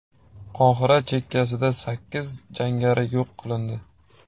Qohira chekkasida sakkiz jangari yo‘q qilindi.